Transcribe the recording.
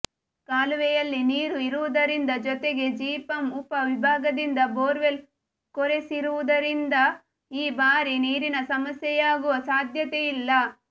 ಕಾಲುವೆಯಲ್ಲಿ ನೀರು ಇರುವುದರಿಂದ ಜೊತೆಗೆ ಜಿಪಂ ಉಪ ವಿಭಾಗದಿಂದ ಬೋರ್ವೆಲ್ ಕೊರೆಸಿರುವುದರಿಂದ ಈ ಬಾರಿ ನೀರಿನ ಸಮಸ್ಯೆಯಾಗುವ ಸಾಧ್ಯತೆ ಇಲ್ಲ